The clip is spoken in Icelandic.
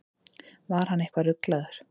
Var hann eitthvað ruglaður?